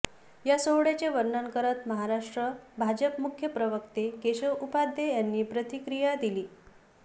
या सोहळ्याचे वर्णन करत महाराष्ट्र भाजप मुख्य प्रवक्ते केशव उपाध्ये यांनी प्रतिक्रिया दिली